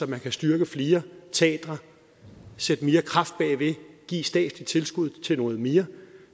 man kan styrke flere teatre sætte mere kraft bag ved give et statsligt tilskud til noget mere